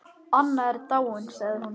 Anna er dáin sagði hún.